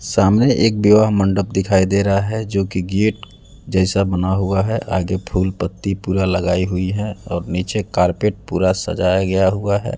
सामने एक विवाह मंडप दिखाई दे रहा है जोकि गेट जैसा बना हुआ है आगे फूल पत्ती पूरा लगाई हुई है और नीचे कारपेट पूरा सजाया गया हुआ है।